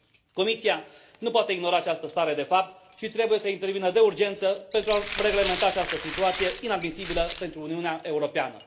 Comisia nu poate ignora această stare de fapt și trebuie să intervină de urgență pentru a reglementa această situație inadmisibilă pentru Uniunea Europeană.